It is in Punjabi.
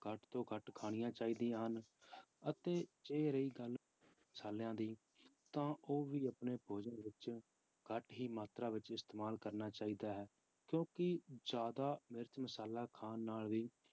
ਘੱਟ ਤੋਂ ਘੱਟ ਖਾਣੀਆਂ ਚਾਹੀਦੀਆਂ ਹਨ, ਅਤੇ ਜੇ ਰਹੀ ਗੱਲ ਮਸ਼ਾਲਿਆਂ ਦੀ ਤਾਂ ਉਹ ਵੀ ਆਪਣੇ ਭੋਜਨ ਵਿੱਚ ਘੱਟ ਹੀ ਮਾਤਰਾ ਵਿੱਚ ਇਸਤੇਮਾਲ ਕਰਨਾ ਚਾਹੀਦਾ ਹੈ ਕਿਉਂਕਿ ਜ਼ਿਆਦਾ ਮਿਰਚ ਮਸ਼ਾਲਾ ਖਾਣ ਨਾਲ ਵੀ